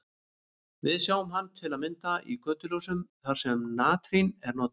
Við sjáum hann til að mynda í götuljósum þar sem natrín er notað.